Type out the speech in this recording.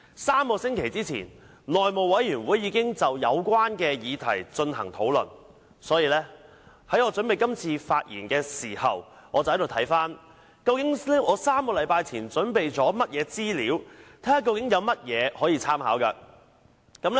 三星期前，內務委員會已就有關議題進行討論，所以在我準備今次發言時，我便翻查究竟我在3星期前準備了甚麼資料，看看有甚麼可以參考。